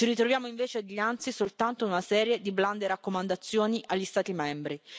Ci ritroviamo invece dinanzi soltanto a una serie di blande raccomandazioni agli Stati membri.